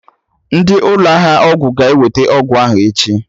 Ndị ụlọ ahịa ọgwụ ga-eweta ọgwụ ahụ echi